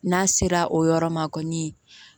N'a sera o yɔrɔ ma kɔni